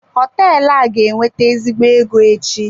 Họteelụ a ga-ewete ezigbo ego echi.